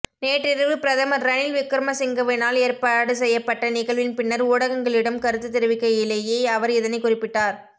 நேற்றிரவு பிரதமர் ரணில் விக்ரமசிங்கவினால் ஏற்பாடு செய்யப்பட்ட நிகழ்வின் பின்னர் ஊடகங்களிடம் கருத்துத் தெரிவிக்கையிலேயே அவர் இதனைக் குறிப்பிட்டார்